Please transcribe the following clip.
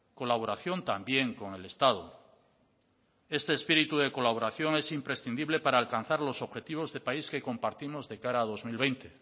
colaboración también con el estado este espíritu de colaboración es imprescindible para alcanzar los objetivos de país que compartimos de cara a dos mil veinte